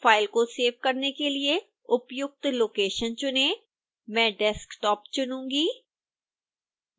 file को save करने के लिए उपयुक्त लोकेशन चुनें मैं desktop चुनूँगी